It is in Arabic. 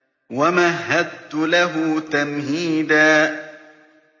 وَمَهَّدتُّ لَهُ تَمْهِيدًا